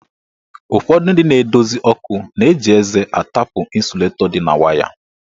Ụfọdụ ndị na-edozi ọkụ na-eji eze atapụ ịsulatọ dị na waya.